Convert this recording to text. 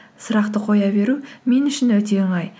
сұрақты қоя беру мен үшін өте оңай